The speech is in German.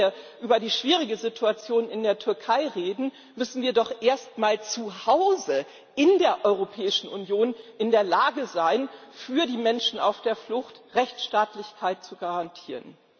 Bevor wir über die schwierige Situation in der Türkei reden, müssen wir doch erst mal zu Hause in der Europäischen Union in der Lage sein, für die Menschen auf der Flucht Rechtsstaatlichkeit zu garantieren.